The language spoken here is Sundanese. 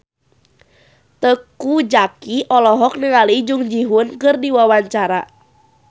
Teuku Zacky olohok ningali Jung Ji Hoon keur diwawancara